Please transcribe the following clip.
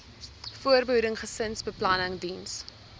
voorbehoeding gesinsbeplanning diens